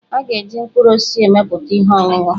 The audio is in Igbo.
Ha ga-eji mkpụrụ osisi emepụta ihe ọṅụṅụ.